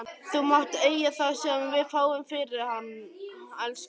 Þú mátt eiga það sem við fáum fyrir hann, elskan.